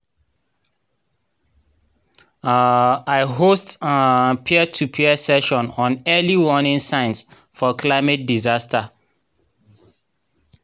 um i host um peer-to-peer session on early warning signs for climate disaster.